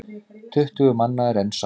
Tuttugu manna er enn saknað.